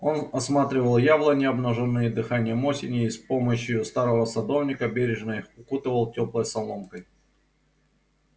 он осматривал яблони обнажённые дыханием осени и с помощию старого садовника бережно их укутывал тёплой соломкой